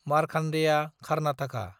Markandeya Karnataka